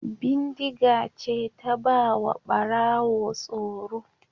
Bindiga ce ta ba wa Ɓarawo tsoro.